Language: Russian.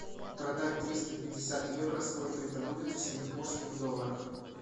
продать триста пятьдесят евро сколько это будет в сингапурских долларах